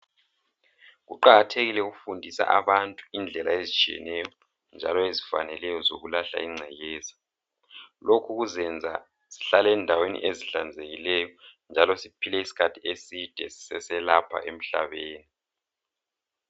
Kuqakathekile ukufundisa abantu indlela ezitshiyeneyo njalo ezifaneleyo zokulahla ingcekeza, lokhu kuzenza sihlale endaweni ezihlanzekileyo njalo siphile isikhathi eside siselapha emhlabeni.